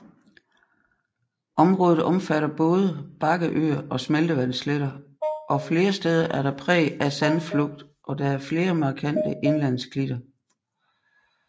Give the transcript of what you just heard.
Området omfatter både bakkeøer og smeltevandssletter og flere steder er der præg af sandflugt og der er flere markante indlandsklitter